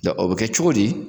Dɔnki o bɛ o bɛ fɔ cogo di.